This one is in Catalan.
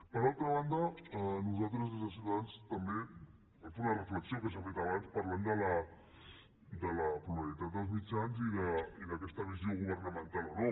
per altra banda nosaltres des de ciutadans també volem fer una reflexió que s’ha fet abans parlant de la pluralitat dels mitjans i d’aquesta visió governamental o no